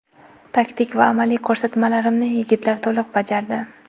Taktik va amaliy ko‘rsatmalarimni yigitlar to‘liq bajardi.